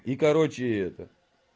и короче это